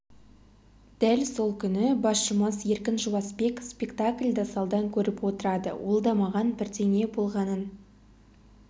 дәл сол күні басшымыз еркін жуасбек спектакльді залдан көріп отырады ол да маған бірдеңе болғанын